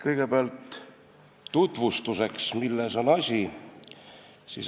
Kõigepealt tutvustuseks, milles on asi.